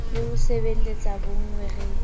le ho sebeletsa bonngwe re